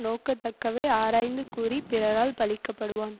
நோகத்தக்கவை ஆராய்ந்து கூறி பிறரால் பழிக்கப்படுவான்